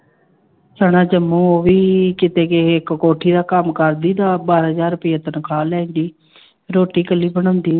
ਸਨਾ ਜੰਮੂ ਉਹ ਵੀ ਕਿਤੇ ਗਈ, ਇੱਕ ਕੋਠੀ ਦਾ ਕੰਮ ਕਰਦੀ ਤਾਂ ਬਾਰਾਂ ਹਜ਼ਾਰ ਰੁਪਈਏ ਤਨਖਾਹ ਲੈਂਦੀ ਰੋਟੀ ਇਕੱਲੀ ਬਣਾਉਂਦੀ।